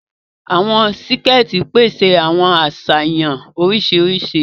Awọn síkẹ̀ẹ̀tì pèsè àwọn aṣayanw oríṣiríṣi.